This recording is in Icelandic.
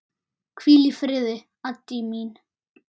Hvíl í friði, Addý mín.